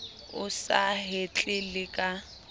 o sa hetle le ka